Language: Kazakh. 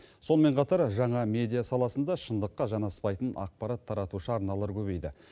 сонымен қатар жаңа медиа саласында шындыққа жанаспайтын ақпарат таратушы арналар көбейді